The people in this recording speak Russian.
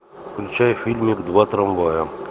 включай фильмик два трамвая